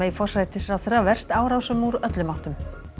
forsætisráðherra verst árásum úr öllum áttum